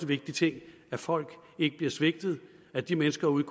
vigtig ting at folk ikke bliver svigtet at de mennesker ude